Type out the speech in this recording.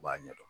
U b'a ɲɛ dɔn